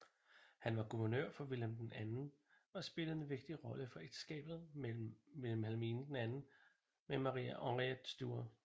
Han var guvernør for Wilhelm II og spillede en vigtig rolle for ægteskabet med Wilhelm II med Maria Henriëtte Stuart